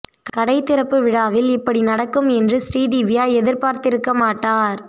கடை திறப்பு விழாவில் இப்படி நடக்கும் என்று ஸ்ரீதிவ்யா எதிர்பார்த்திருந்திருக்க மாட்டார்